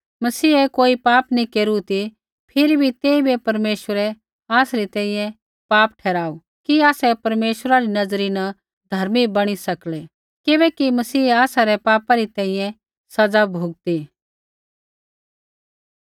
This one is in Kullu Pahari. मसीहै कोई पापा नैंई केरू ती फिरी बी तेइबै परमेश्वरै आसरी तैंईंयैं पाप ठहराऊ कि आसै परमेश्वरा री नज़री न धर्मी बणी सकलै किबैकि मसीहै आसा रै पापा री तैंईंयैं सज़ा भुगती